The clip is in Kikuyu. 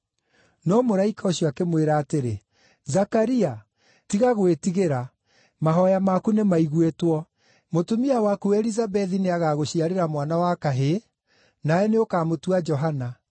No mũraika ũcio akĩmwĩra atĩrĩ: “Zakaria, tiga gwĩtigĩra; mahooya maku nĩmaiguĩtwo. Mũtumia waku Elizabethi nĩagagũciarĩra mwana wa kahĩĩ, nawe nĩũkamũtua Johana.